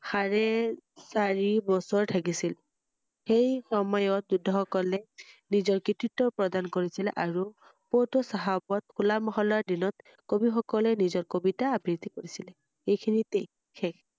হাৰে~চাৰি বছৰ থাকিছিল ৷সেই সময়ত যোদ্বাসকলে নিজৰ কৃতিত্ব প্ৰদান কৰিছিলে আৰু পণ্ট চাহাবত হুলা মহলাৰ দিনত কবি সকলে নিজৰ কবিতা আবৃত্তি কৰিছিল । এইখিনিতে শেষ